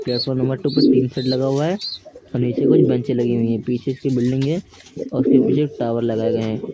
Platform number two पे tin shed लगा हुआ है और नीचे कुछ बेंचे लगी हुई हैं पीछे उसकी एक बिल्डिंग है और उसके पीछे एक टावर लगाए गए हैं।